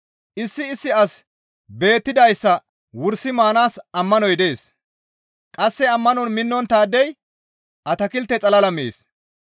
Issi issi asi beettidayssa wursi maanaas ammanoy dees; qasse ammanon minnonttaadey atakilte xalala mees.